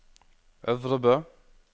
Øvrebø